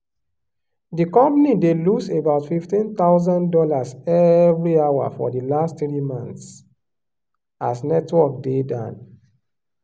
di company dey lose about fifteen thousand dollars every hour for di last three months as network dey down.